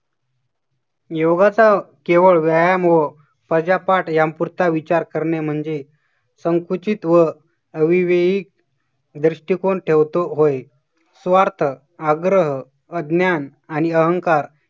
योगाचा केवळ व्यायाम व प्रजापाठ यापुरता विचार करणे म्हणजे संकुचित व अविवाहित दृष्टिकोन ठेवतो. होय स्वार्थ, आग्रह, अज्ञान आणि अहंकार